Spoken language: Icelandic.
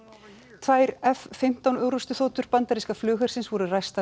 tvær f fimmtán orrustuþotur bandaríska flughersins voru